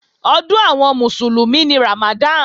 Ọdún àwọn Mùsùlùmí ni Ramadan